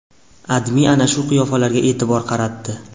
AdMe ana shu qiyofalarga e’tibor qaratdi .